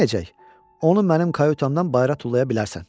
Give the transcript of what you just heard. Onu mənim kayutamdan bayıra tullaya bilərsən.